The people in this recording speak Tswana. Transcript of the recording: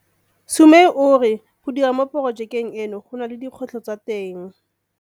Sumay o re go dira mo porojekeng eno go na le dikgwetlho tsa teng.